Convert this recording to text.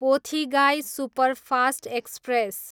Pothigai superfast express